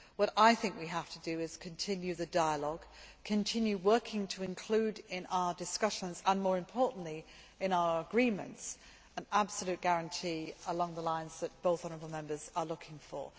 What I think we have to do is to continue the dialogue, continue working to include in our discussions and, more importantly, in our agreements, an absolute guarantee along the lines that both honourable Members are looking for.